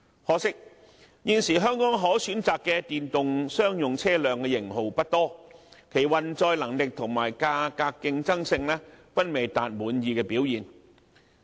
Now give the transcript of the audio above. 可惜現時香港可選擇的電動商用車輛的型號不多，其運載能力和價格競爭性均未能達滿意的表現。